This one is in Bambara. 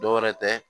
Dɔwɛrɛ tɛ